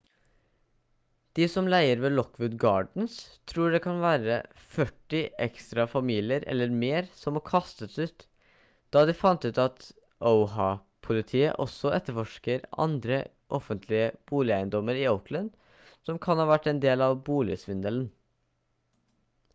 de som leier ved lockwood gardens tror det kan være førti ekstra familier eller mer som må kastes ut da de fant ut at oha-politiet også etterforsker andre offentlige boligeiendommer i oakland som kan ha vært en del av boligsvindelen